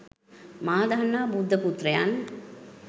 මා දන්නා බුද්ධ පුත්‍රයන්